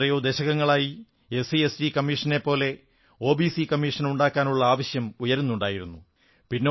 എത്രയോ ദശകങ്ങളായി പട്ടികജാതി പട്ടികവർഗ്ഗ കമ്മീഷനെപ്പോലെ ഒബിസി കമ്മീഷനുണ്ടാക്കാനുള്ള ആവശ്യം ഉയരുന്നുണ്ടായിരുന്നു